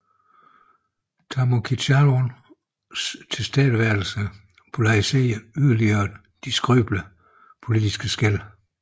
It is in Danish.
Thanom Kittikachorn tilstedeværelse polariserede yderligere de skrøbelige politiske skel